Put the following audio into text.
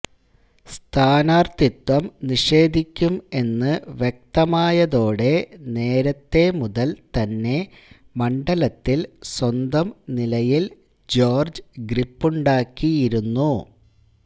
സ്ഥാനാർത്ഥിത്വം നിഷേധിക്കും എന്ന് വ്യക്തമായതോടെ നേരത്തെ മുതൽ തന്നെ മണ്ഡലത്തിൽ സ്വന്തം നിലയിൽ ജോർജ്ജ് ഗ്രിപ്പുണ്ടാക്കിയിരുന്നു